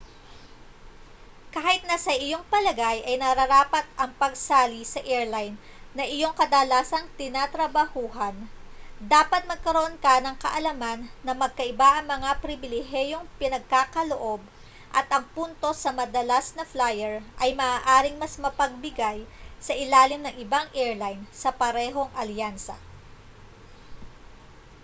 kahit na sa iyong palagay ay nararapat ang pagsali sa airline na iyong kadalasang tinatrabahuan dapat magkaroon ka ng kaalaman na magkaiba ang mga pribilehiyong ipinagkakaloob at ang puntos sa madalas na flyer ay maaaring mas mapagbigay sa ilalim ng ibang airline sa parehong alyansa